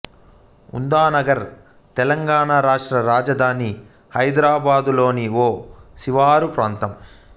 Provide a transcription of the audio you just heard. ఉందానగర్ తెలంగాణ రాష్ట్ర రాజధాని హైదరాబాదులోని ఒక శివారు ప్రాంతం